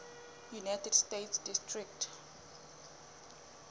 united states district